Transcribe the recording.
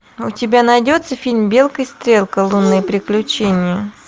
у тебя найдется фильм белка и стрелка лунные приключения